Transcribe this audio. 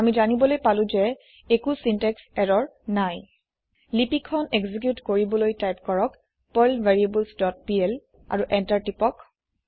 আমি জানিবলৈ পালো যে একো চিন্টেক্স ইৰৰ নাই লিপি খন একজিকিউট কৰিবলৈ টাইপ কৰক পাৰ্ল ভেৰিয়েবলছ ডট পিএল আৰু এন্টাৰ টাইপ কৰক